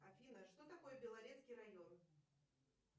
афина что такое белорецкий район